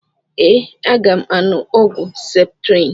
Ee, aga m aṅụ ọgwụ septrịn